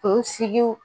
Kunsigiw